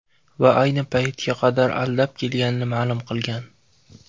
Va ayni paytga qadar aldab kelganini ma’lum qilgan.